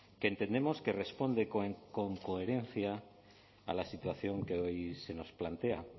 que entendemos que responde con coherencia a la situación que hoy se nos plantea